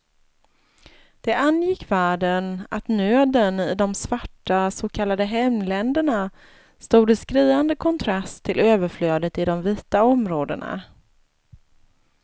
Det angick världen att nöden i de svarta så kallade hemländerna stod i skriande kontrast till överflödet i de vita områdena.